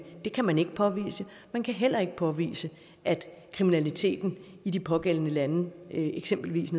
det kan man ikke påvise man kan heller ikke påvise at kriminaliteten i de pågældende lande eksempelvis